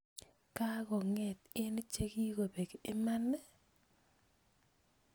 Kokonget eng chekikobek imani?